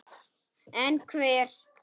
En hver?